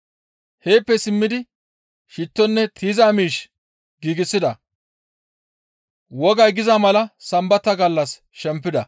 Heeppe simmidi shittonne tiyiza miish giigsida. Wogay giza mala Sambata gallas shempida.